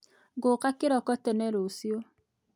Ngooka kĩroko tene rũciũ